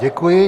Děkuji.